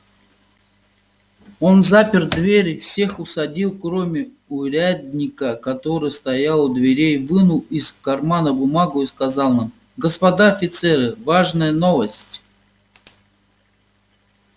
он запер двери всех усадил кроме урядника который стоял у дверей вынул из кармана бумагу и сказал нам господа офицеры важная новость